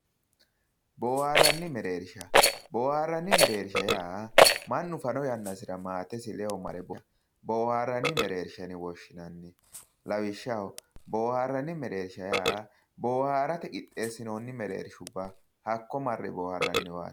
Boohaarranna mereersha boohaarranni mereersha yaa mannu fano yannasira maatesi ledo mare ofollannowa booharranni mereersha yine woshshinanni lawishshaho boohaarranni mereersha yaa boohaarate qixxeessinoonni mereershubba hakko marre boohaarranniwaati